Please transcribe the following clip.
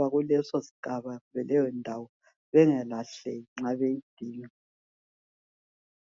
bakuleyo ndawo bengalahleki nxa beyidinga